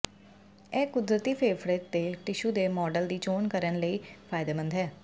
ਇਹ ਕੁਦਰਤੀ ਫੇਫੜੇ ਦੇ ਟਿਸ਼ੂ ਦੇ ਮਾਡਲ ਦੀ ਚੋਣ ਕਰਨ ਲਈ ਫਾਇਦੇਮੰਦ ਹੈ